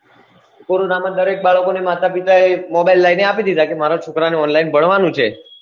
corona માં દરેક બાળકો ને માતા પિતાએ mobile લઇ ને આપી દીધાકે મારો છોકરાને online ભણવાનું છે